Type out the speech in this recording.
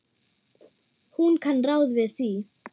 Hún kann ráð við því.